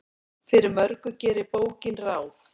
Fyrir mörgu gerir bókin ráð.